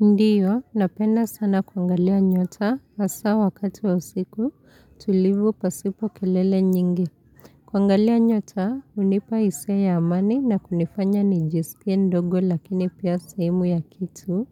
Ndiyo, napenda sana kuangalia nyota hasa wakati wa usiku tulivu pasipo kelele nyingi. Kuangalia nyota, hunipa hisia ya amani na kunifanya nijisikie mdogo, lakini pia sehemu ya kitu